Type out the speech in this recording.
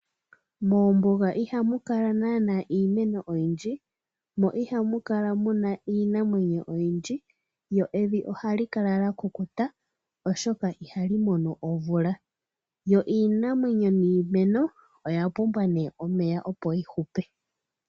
Moombunga iha mu kala nana iimeno oyindji mo ihamukala iinamwenyo oyindji,, lyo evi ohali kala lyakukuta oshoka ihalimono omvula. Iimeno niinamwenyo oya pumbwa omeya opo yi hupe.